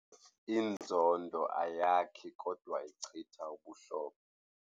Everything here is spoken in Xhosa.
Inzondo ayakhi kodwa ichitha ubuhlobo.